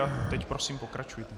A teď prosím pokračujte.